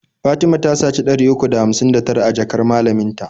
Fatima ta saci ɗari uku da hamsin da tara a jakar malamin ta.